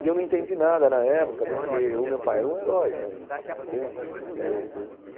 E eu não entendi nada na época, porque o meu pai era um herói para mim, entende? Eu